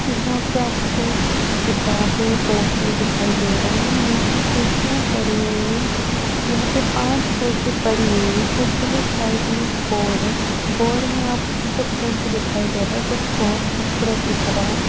यहाँ पे आपको किताबें बोटल दिखाई दे रहा है यहाँ पे कुर्सियाँ पड़ी हुई है यहाँ पे पांच कुर्सी पड़ी हुई है कुर्सी के साइड में एक बोर्ड है बोर्ड में आपको जो प्रिंट दिखाई दे रहा है वो बहुत खूबसूरत दिख रहा है।